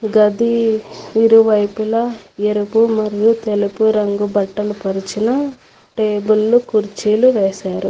గది ఇరువైపులా ఎరుపు మరియు తెలుపు రంగు బట్టలు పలిచిన టేబుల్లు కుర్చీలు వేశారు.